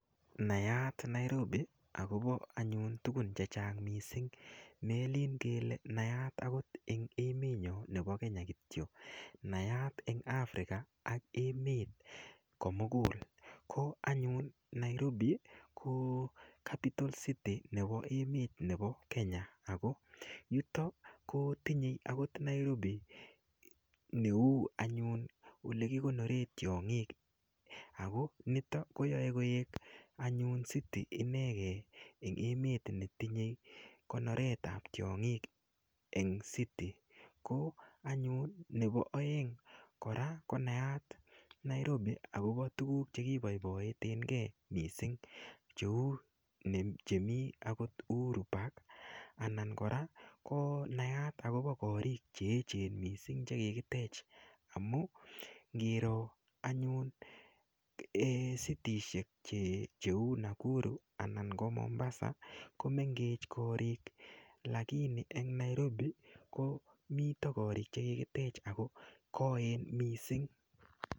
Nayaat Nairobi akopo anyun tukun che chang' mising' melin kele nayaat akot eng' emet nyo nepo Kenya kityo nayaat eng' African ak emet komukul ko anyun Nairobi ko apital city nepo emet nepo Kenya ako yuto kotinyei akot Nairobi neu anyun olekikonore tiong'ik ako nitok koyoe koek anyun city inekee eng emet netinyei konoret ap tiong'ik eng city ko anyun nepo oeng' kora konayat Nairobi akopo tukuuk chekipoipoitenkee mising' cheu chemii akot Uhuru park anan kora ko nayaat akopo korik cheechen mising' chekikitech amu ngiro anyun citishek cheu Nakuru anan ko Mombasa komengech korik lakini eng Nairobi komito korik chekikitech ako koen mising'.